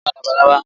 Mo fẹ́ràn labalábá